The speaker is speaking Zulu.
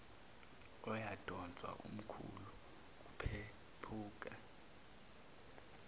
uyamdonsa umkhulu kuphephuka